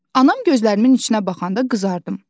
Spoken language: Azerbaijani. Anam gözlərimin içinə baxanda qızardım.